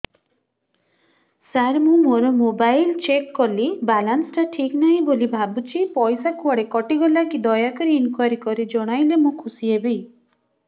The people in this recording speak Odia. ସାର ମୁଁ ମୋର ମୋବାଇଲ ଚେକ କଲି ବାଲାନ୍ସ ଟା ଠିକ ନାହିଁ ବୋଲି ଭାବୁଛି ପଇସା କୁଆଡେ କଟି ଗଲା କି ଦୟାକରି ଇନକ୍ୱାରି କରି ଜଣାଇଲେ ମୁଁ ଖୁସି ହେବି